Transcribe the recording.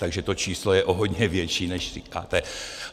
Takže to číslo je o hodně větší, než říkáte.